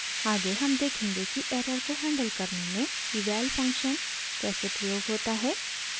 आगे हम देखेंगे कि एरर को हैंडल करने में eval फंक्शन कैसे प्रयोग होता है